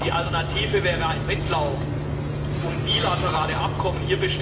Die Alternative wäre ein Wettlauf um bilaterale Abkommen.